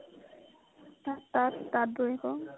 তাঁত তাঁত বৈ আকৌ